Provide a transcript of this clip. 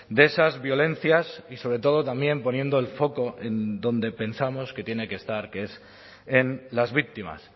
de esas violencias y sobre todo también poniendo el foco en donde pensamos que tiene que estar que es en las víctimas